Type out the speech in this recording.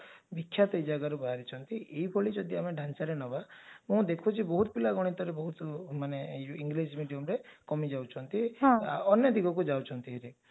ବିଖ୍ୟାତ ଏ ଜାଗାରୁ ବାହାରିଛନ୍ତି ଏଭଳି ଯଦି ଆମେ ଢାଞ୍ଚାରେ ନେବା ମୁଁ ଦେଖୁଛି ବହୁତ ପିଲା ଗଣିତରେ ବହୁତ ମାନେ ଏଇ ଯଉ ଇଂରାଜି mediumରେ କମିଯାଉଛନ୍ତି ଅନ୍ୟ ଦିଗକୁ ଯାଉଛନ୍ତି